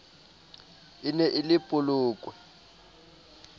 e ne e le polokwe